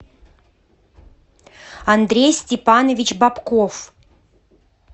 андрей степанович бобков